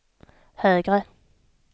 högre